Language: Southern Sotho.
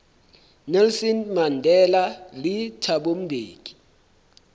nelson mandela le thabo mbeki